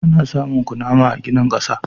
Ana samun kunama a ginin ƙasa.